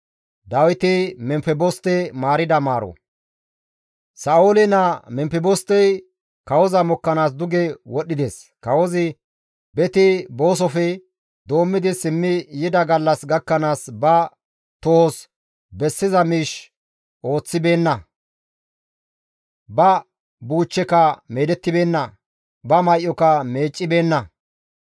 Sa7oole naa Memfebostey kawoza mokkanaas duge wodhdhides; kawozi beti boosofe doommidi simmi yida gallas gakkanaas ba tohos bessiza miish ooththibeenna; ba buuchcheka meedettibeenna; ba may7oka meeccibeenna.